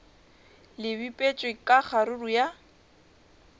le bipetšwe ka kgaruru ya